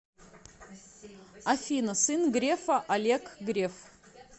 афина сын грефа олег греф